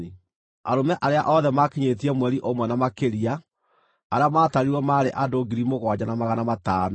Arũme arĩa othe maakinyĩtie mweri ũmwe na makĩria arĩa maatarirwo maarĩ andũ 7,500.